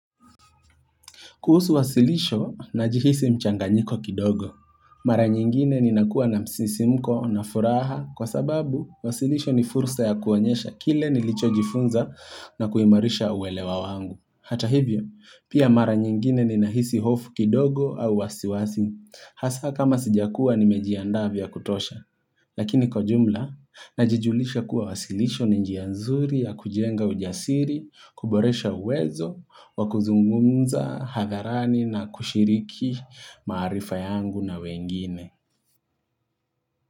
Kuhusu wasilisho najihisi mchanganyiko kidogo. Mara nyingine ninakuwa na msisimko na furaha kwa sababu wasilisho ni fursa ya kuonyesha kile nilichojifunza na kuimarisha uwelewa wangu. Hata hivyo, pia mara nyingine ni nahisi hofu kidogo au wasiwasi. Hasa kama sijakua nimejianda vya kutosha. Lakini kwa jumla, najijulisha kuwa wasilisho ni njia nzuri ya kujenga ujasiri, kuboresha uwezo, wakuzungumza, hadharani na kushiriki maarifa yangu na wengine.